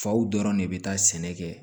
Faw dɔrɔn de bɛ taa sɛnɛ kɛ